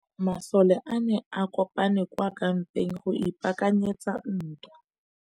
Masole a ne a kopane kwa kampeng go ipaakanyetsa ntwa.